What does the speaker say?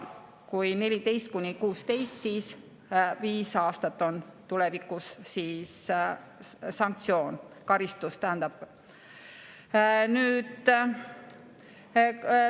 Kui 14–16, siis on tulevikus karistus viis aastat.